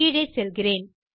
கீழே செல்கிறேன்